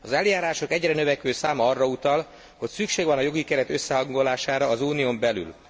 Az eljárások egyre növekvő száma arra utal, hogy szükség van a jogi keret összehangolására az Unión belül.